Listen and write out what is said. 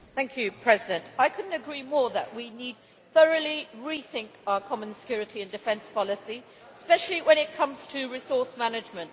Madam President, I could not agree more that we need to thoroughly rethink our common security and defence policy, especially when it comes to resource management.